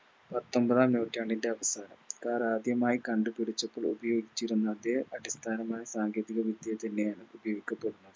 പത്തൊമ്പതാം നൂറ്റാണ്ടിൻറെ അടുത്താണ് Car ആദ്യമായി കണ്ടുപിടിച്ചപ്പോൾ ഉപയോഗിച്ചിരുന്ന അതെ അടിസ്ഥാനമായ സാങ്കേതിക വിദ്യ തന്നെയാണിത് ഉപയോഗിക്കപ്പെടുന്നത്